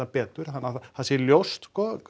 betur þannig að það sé ljóst